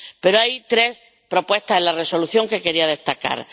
Pero hay tres propuestas en la Resolución que quería destacar.